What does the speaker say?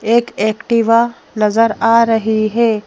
एक एक्टिवा नज़र आ रही है।